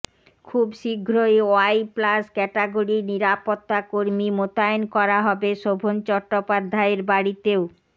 খুব শীঘ্রই Y plus ক্যাটাগরির নিরাপত্তা কর্মী মোতায়েন করা হবে শোভন চট্টোপাধ্যায়ের বাড়িতেও